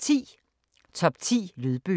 Top ti Lydbøger